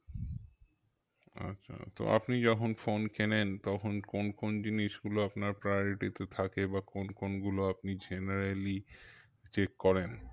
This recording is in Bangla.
আচ্ছা তো আপনি যখন phone কেনেন তখন কোন কোন জিনিস গুলো আপনার priority তে থাকে বা কোন কোন গুলো আপনি generally check করেন?